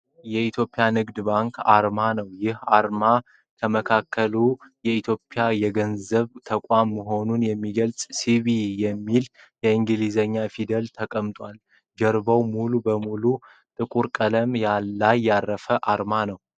የኢትዮጵያ ንግድ ባንክ አርማ ነዉ። ይህ አርማ ከመካከሉ የኢትዮጵያ የገንዘብ ተቋም መሆኑን የሚገልፁ "ሲቢኢ" የሚሉ የእንግሊዘኛ ፊደላት ተቀምጠዋል። ጀርባዉ ሙሉ በሙሉ ጥቁር ቀለም ላይ ያረፈ አርማ ነዉ።